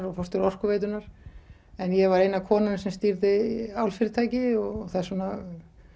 og forstjóra Orkuveitunnar en ég var eina konan sem stýrði álfyrirtæki og þess vegna